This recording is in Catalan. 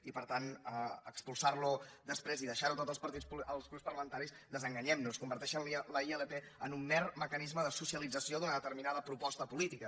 i per tant expulsar lo després i deixar ho tot als grups parlamentaris desenganyem nos converteix la ilp en un mer mecanisme de socialització d’una determinada proposta política